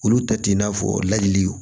Olu ta t'i n'a fɔ ladili